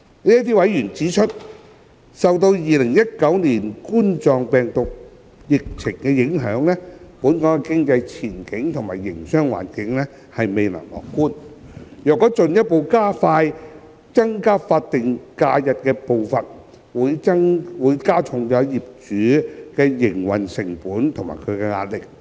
這些委員指出，受2019冠狀病毒病疫情影響，本港經濟前景及營商環境未見樂觀，若進一步加快增加法定假日的步伐，會加重僱主的營運成本及壓力。